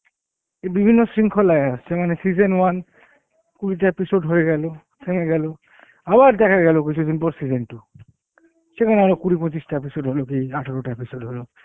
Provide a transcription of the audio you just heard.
এ বিভিন্ন শৃংখলায় আসছে মানে season one কুড়িটা episode হয়েগেল থেমে গেল আবার দেখাগেল কিছুদিন পর season two, সেখানে আরো কুড়ি পঁচিশ টা episode হলো কি আঠেরো টা episode হলো